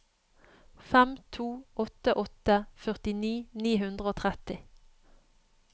fem to åtte åtte førtini ni hundre og tretti